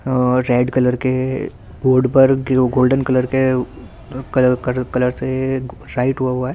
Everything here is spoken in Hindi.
और रेड कलर के बोड पर ब्लू गोल्डन कलर के कलर कल कलर से राइट होवा हुआ है।